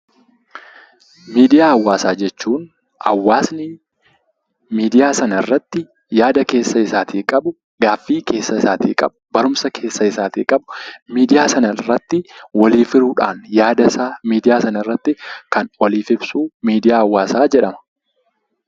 Miidiyaa Hawaasaa jechuun hawaasni miidiyaa sana irratti yaada keessa isaatii qabu, gaaffii keessa isaatii qabu, barumsa keessa isaatii qabu miidiyaa sana irratti waliif hiruudhaan, yaada isaa miidiyaa sana irratti kan waliif ibsu 'Miidiyaa Hawaasaa' jedhama.